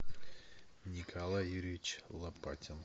николай юрьевич лопатин